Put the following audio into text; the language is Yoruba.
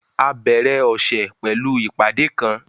A bẹ̀rẹ̀ ọṣẹ̀ pẹ̀lú ìpadé kán